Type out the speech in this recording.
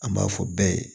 An b'a fɔ bɛɛ ye